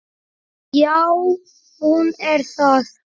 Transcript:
Já, hún er það.